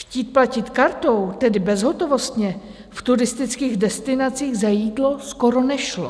Chtít platit kartou, tedy bezhotovostně, v turistických destinacích za jídlo skoro nešlo.